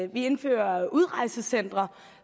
vi indfører udrejsecentre